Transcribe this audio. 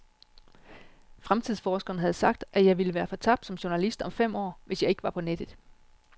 Fremtidsforskeren havde sagt, at jeg ville være fortabt som journalist om fem år, hvis jeg ikke var på nettet.